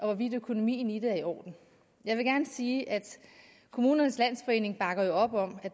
hvorvidt økonomien i det er i orden jeg vil gerne sige at kommunernes landsforening bakker op om